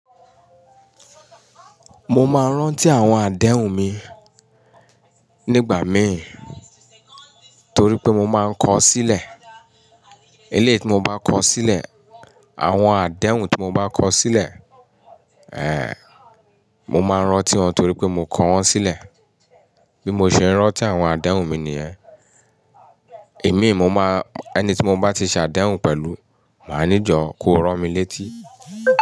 Mo máa ń rántí àwọn àdéhùn mi nígbà míì torí pé mo máa ń kọ sílẹ̀. Eléyi tí mo bá kọ sílẹ̀, àwọn àdéhùn tí mo bá kọ sílẹ̀, ẹ́ẹ́ mo máa ń rántí wọn torí pé mo kọ wọ́n sílẹ̀. Bí mo ṣe ń rántí àwọn àdéhùn mi nìyẹn. Imi mo máa, ẹni tí mo bá ti ṣàdéhùn pẹ̀lú, màá ní jọ kó rán mi létí.